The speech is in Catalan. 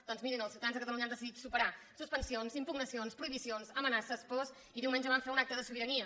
doncs mirin els ciutadans de catalunya han deci·dit superar suspensions impugnacions prohibicions amenaces pors i diumenge van fer un acte de sobira·nia